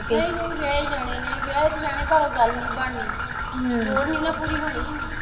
ਨਹੀਂ ਨਹੀ ਵਿਆਹੇ ਜਾਣੇ ਨੇ ਵਿਆਹੇ ਤੇ ਜਾਣੇ ਨੇ ਪਰ ਉਹ ਗਲ ਨੀ ਬਣਨੀ ਥੋੜ ਨੀ ਨਾ ਪੂਰੀ ਹੋਣੀ